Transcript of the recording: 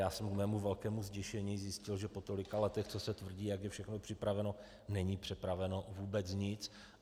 Já jsem k mému velkému zděšení zjistil, že po tolika letech, co se tvrdí, jak je všechno připraveno, není připraveno vůbec nic.